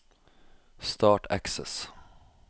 Start Access